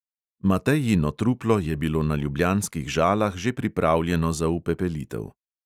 Matejino truplo je bilo na ljubljanskih žalah že pripravljeno za upepelitev.